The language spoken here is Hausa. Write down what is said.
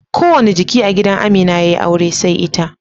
Kowanne jiki a gidan Amina yayi aure sai ita